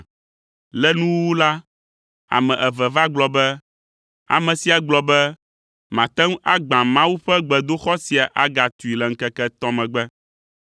Le nuwuwu la, ame eve va gblɔ be, “Ame sia gblɔ be, ‘mate ŋu agbã Mawu ƒe gbedoxɔ sia agatui le ŋkeke etɔ̃ megbe.’ ”